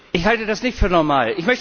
Ich halte das nicht für normal.